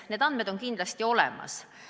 Need andmed on kindlasti olemas.